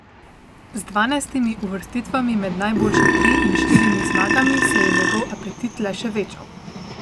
Z dvanajstimi uvrstitvami med najboljše tri in štirimi zmagami se je njegov apetit le še večal.